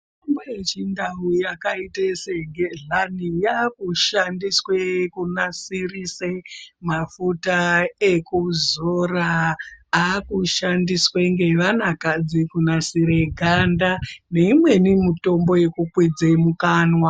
Mitombo yechindau yakaite segedhlani, yaakushandiswe kunasirise mafuta ekuzoraa, aakushandiswe ngevanakadzi kunasire ganda, neimweni mutombo yekukwidze mukanwa.